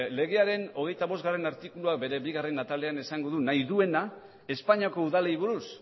legearen hogeita bostgarrena artikuluak bere bigarren atalean esango du nahi duena espainiako udalei buruz